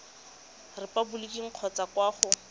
mo repaboliking kgotsa kwa go